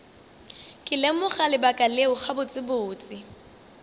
ke lemoga lebaka leo gabotsebotse